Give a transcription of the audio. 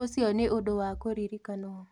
ũcio nĩ ũndũ wa kũririkanwo